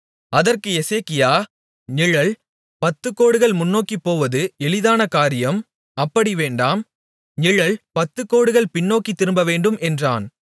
அதற்கு எசேக்கியா நிழல் பத்துகோடுகள் முன்னோக்கிப்போவது எளிதான காரியம் அப்படி வேண்டாம் நிழல் பத்துகோடுகள் பின்னோக்கித் திரும்பவேண்டும் என்றான்